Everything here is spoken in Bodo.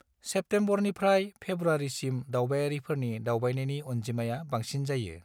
सेप्तेम्बरनिफ्राय फेब्रुवारिसिम दावबायारिफोरनि दावबायनायनि अनजिमाया बांसिन जायो।